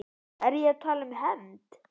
Er ég að tala um hefnd?